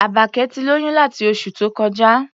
Àbákẹ́ ti lóyún láti oṣù tó kọjá.